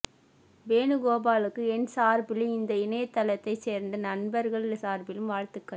வேணுகோபாலுக்கு என் சார்பிலும் இந்த இணையதளத்தைச் சேர்ந்த நண்பர்கள் சார்பிலும் வாழ்த்துக்கள்